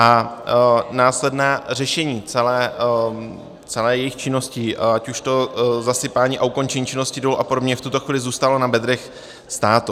A následné řešení celé jejich činnosti, ať už to zasypání a ukončení činnosti dolů a podobně, v tuto chvíli zůstalo na bedrech státu.